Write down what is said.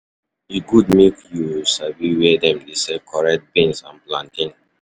E good make you um sabi where dem dey sell correct beans and plantain